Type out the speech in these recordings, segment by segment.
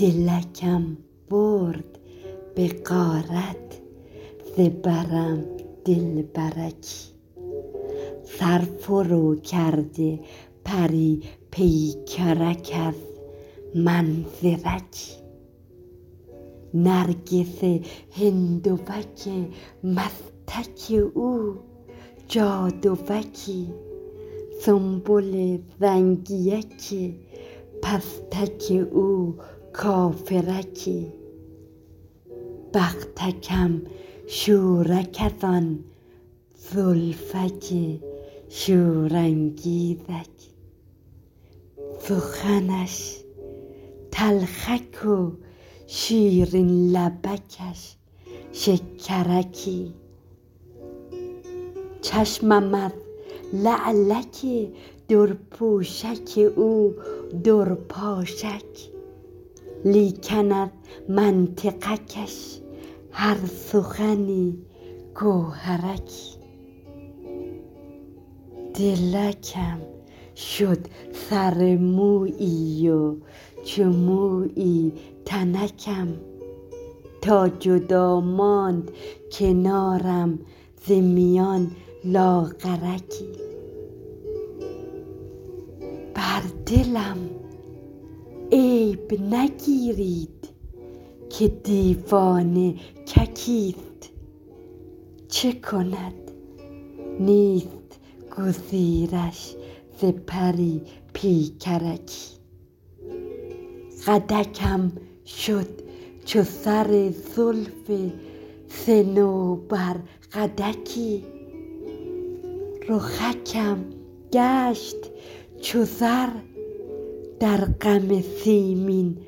دلکم برد به غارت ز برم دلبرکی سر فرو کرده پری پیکرک از منظرکی نرگس هندوک مستک او جادوکی سنبل زنگیک پستک او کافرکی بختکم شورک از آن زلفک شورانگیزک سخنش تلخک و شیرین لبکش شکرکی چشمم از لعلک درپوشک او درپاشک لیکن از منطقکش هر سخنی گوهرکی دلکم شد سر مویی و چو مویی تنکم تا جدا ماند کنارم ز میان لاغرکی بر دلم عیب نگیرید که دیوانک کیست چه کند نیست گزیرش ز پری پیکرکی قدکم شد چو سر زلف صنوبر قدکی رخکم گشت چو زر در غم سیمین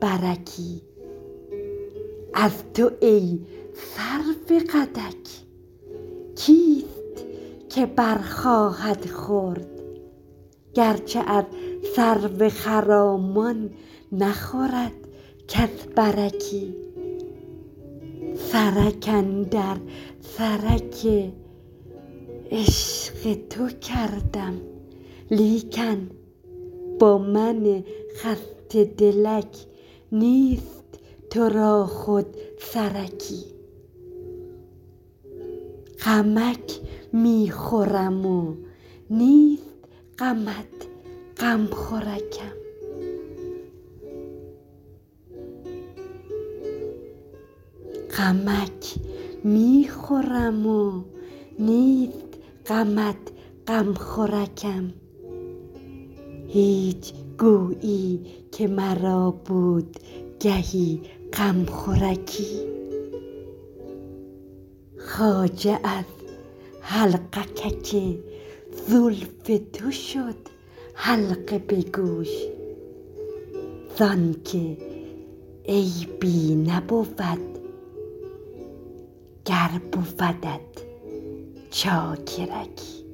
برکی از تو ای سرو قدک کیست که بر خواهد خورد گرچه از سرو خرامان نخورد کس برکی سرک اندر سرک عشق تو کردم لیکن با من خسته دلک نیست ترا خود سرکی غمکت می خورم و نیست غمت غمخورکم هیچ گویی که مرا بود گهی غمخورکی خواجو از حلقکک زلف تو شد حلقه به گوش زانک عیبی نبود گر بودت چاکرکی